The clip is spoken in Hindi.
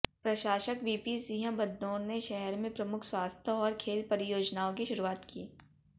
प्रशासक वीपी सिंह बदनोर ने शहर में प्रमुख स्वास्थ्य और खेल परियोजनाओं की शुरुआत की